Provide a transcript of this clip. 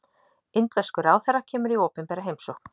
Indverskur ráðherra kemur í opinbera heimsókn